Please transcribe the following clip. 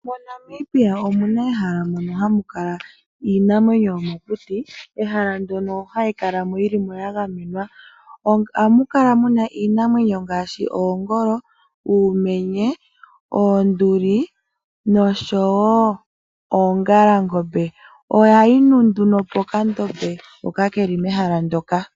MoNamibia omu na ehala moka hamu kala iinamwenyo yomokuti. Mehala mono hayi kala mo ya gamenwa. Ohamu kala iinamwenyo ngaashi: oongolo, uumenye, oonduli nosho wo oongalangombe. Ohayi nu nduno pokandombe hoka ke li mehala ndyoka.